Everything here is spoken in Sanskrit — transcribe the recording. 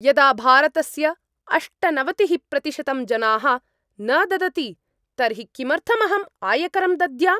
यदा भारतस्य अष्टनवतिः प्रतिशतं जनाः न ददति तर्हि किमर्थम् अहं आयकरं दद्याम्?